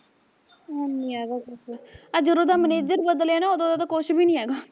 ਹੈਨੀ ਹੈਗਾ ਕੁਛ, ਆਹ ਜਦੋਂ ਦਾ ਮਨੇਜਰ ਬਦਲਿਆ ਨਾ ਉਦੋਂ ਦਾ ਤਾਂ ਕੁਸ਼ ਵੀ ਨੀ ਹੈਗਾ